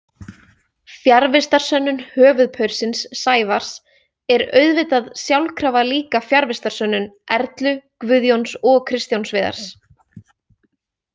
Fjarvistarsönnun „höfuðpaursins“ Sævars er auðvitað sjálfkrafa líka fjarvistarsönnun Erlu, Guðjóns og Kristjáns Viðars.